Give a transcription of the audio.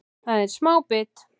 Það er smá bit